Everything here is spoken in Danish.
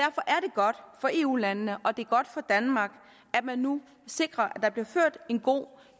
godt for eu landene og det er godt for danmark at man nu sikrer at der bliver ført en god